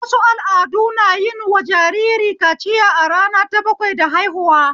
Wasu al'adu na yin wa jariri kaciya a rana ta bakwai da haihuwa